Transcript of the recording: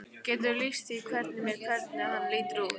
Geturðu lýst því fyrir mér hvernig hann lítur út?